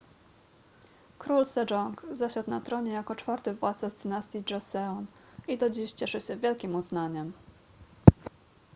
król sejong zasiadł na tronie jako czwarty władca z dynastii joseon i do dziś cieszy się wielkim uznaniem